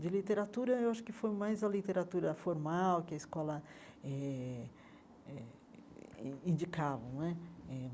De literatura, eu acho que foi mais a literatura formal, que a escola eh eh in indicava não é.